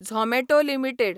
Zomato limited